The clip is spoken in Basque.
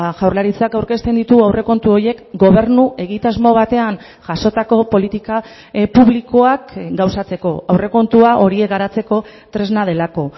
jaurlaritzak aurkezten ditu aurrekontu horiek gobernu egitasmo batean jasotako politika publikoak gauzatzeko aurrekontua horiek garatzeko tresna delako